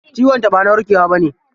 Ciwon ta ba na warkewa bane.